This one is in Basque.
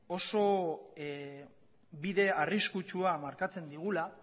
oso bide arriskutsua markatzen digula